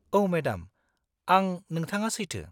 -औ मेडाम, आं नोंथाङा सैथो।